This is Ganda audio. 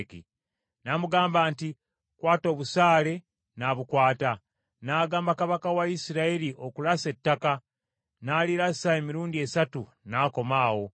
N’amugamba nti, “Kwata obusaale,” n’abukwata. N’agamba kabaka wa Isirayiri okulasa ettaka. N’alirasa emirundi esatu, n’akoma awo.